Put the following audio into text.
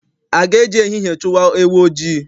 A ga-eji ehihie chụwa ewu ojii?